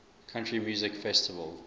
country music festival